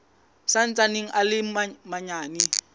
sa ntsaneng a le manyane